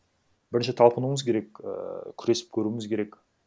бірінші талпынуымыз керек ііі күресіп көруіміз керек